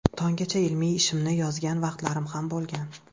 Tonggacha ilmiy ishimni yozgan vaqtlarim ham bo‘lgan.